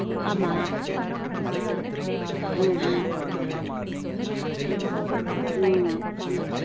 ஆமா ம்ம் ம் ம்